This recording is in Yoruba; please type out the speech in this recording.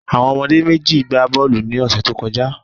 Àwon omodé méjì n gba bóòlù ni òsè tó kojá